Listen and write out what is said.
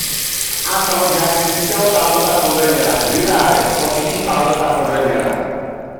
a tà ọjà sixty seven thousand five hundred naira rira rẹ forty two thousand five hundrd naira.